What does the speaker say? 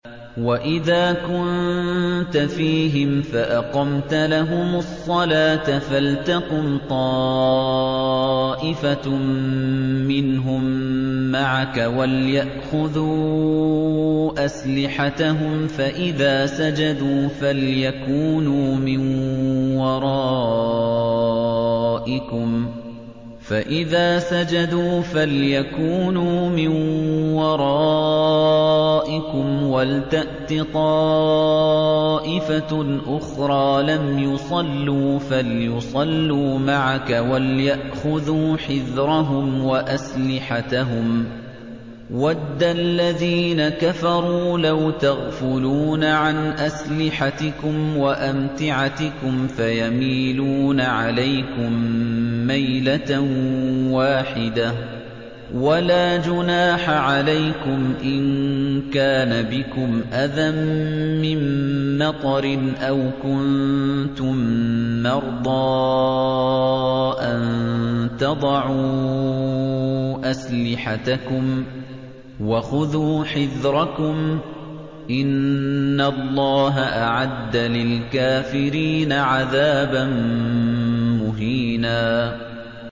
وَإِذَا كُنتَ فِيهِمْ فَأَقَمْتَ لَهُمُ الصَّلَاةَ فَلْتَقُمْ طَائِفَةٌ مِّنْهُم مَّعَكَ وَلْيَأْخُذُوا أَسْلِحَتَهُمْ فَإِذَا سَجَدُوا فَلْيَكُونُوا مِن وَرَائِكُمْ وَلْتَأْتِ طَائِفَةٌ أُخْرَىٰ لَمْ يُصَلُّوا فَلْيُصَلُّوا مَعَكَ وَلْيَأْخُذُوا حِذْرَهُمْ وَأَسْلِحَتَهُمْ ۗ وَدَّ الَّذِينَ كَفَرُوا لَوْ تَغْفُلُونَ عَنْ أَسْلِحَتِكُمْ وَأَمْتِعَتِكُمْ فَيَمِيلُونَ عَلَيْكُم مَّيْلَةً وَاحِدَةً ۚ وَلَا جُنَاحَ عَلَيْكُمْ إِن كَانَ بِكُمْ أَذًى مِّن مَّطَرٍ أَوْ كُنتُم مَّرْضَىٰ أَن تَضَعُوا أَسْلِحَتَكُمْ ۖ وَخُذُوا حِذْرَكُمْ ۗ إِنَّ اللَّهَ أَعَدَّ لِلْكَافِرِينَ عَذَابًا مُّهِينًا